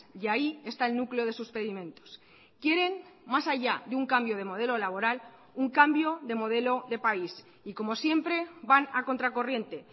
y ahí está el núcleo de sus pedimentos quieren más allá de un cambio de modelo laboral un cambio de modelo de país y como siempre van a contracorriente